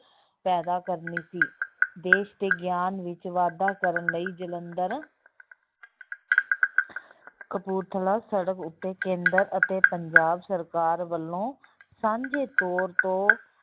ਪੈਦਾ ਕਰਨੀ ਸੀ, ਦੇਸ ਦੇ ਗਿਆਨ ਵਿੱਚ ਵਾਧਾ ਕਰਨ ਲਈ ਜਲੰਧਰ ਕਪੂਰਥਲਾ ਸੜਕ ਉੱਤੇ ਕੇਂਦਰ ਅਤੇ ਪੰਜਾਬ ਸਰਕਾਰ ਵੱਲੋਂ ਸਾਂਝੇ ਤੋਰ ਤੋਂ